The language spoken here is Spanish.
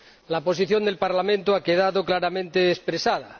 La posición del Parlamento ha quedado claramente expresada.